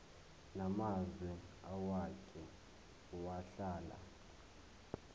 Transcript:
namazwe owake wahlala